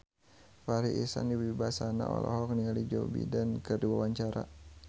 Farri Icksan Wibisana olohok ningali Joe Biden keur diwawancara